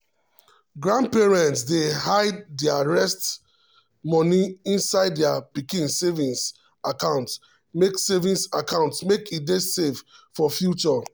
grandparents dey hide their rest money inside their pikin saving account make saving account make e dey safe for future.